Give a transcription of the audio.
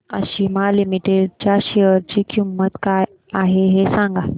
आज आशिमा लिमिटेड च्या शेअर ची किंमत काय आहे हे सांगा